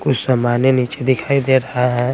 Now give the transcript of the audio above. कुछ समानें नीचे दिखाई दे रहा है।